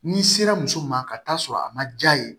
N'i sera muso ma ka taa sɔrɔ a ma ja ye